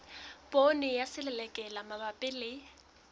poone ya selelekela mabapi le